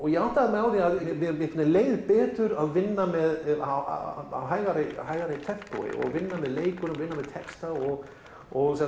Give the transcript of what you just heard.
ég áttaði mig á því mér leið betur að vinna með á hægara hægara tempói og vinna með leikurum vinna með texta og og